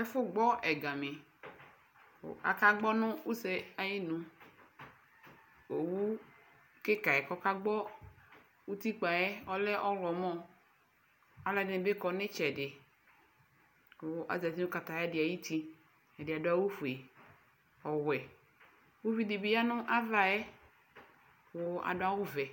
Ɛfʋɛ gbɔ ɛgani kʋ akagbɔ nʋ use yɛ iyinu Owu kika yɛ k'ɔkagbɔ utikpa yɛ ɔlɛ ɔɣlɔmɔ Alʋ ɛdini bi kɔ nʋ itsɛdi Kʋ azati nʋ katayadi ayuti Ɛdi adʋ awʋ ƒue, ɔwɛ Uvidi bi ya n'ava yɛ kʋ adʋ awʋ vɛ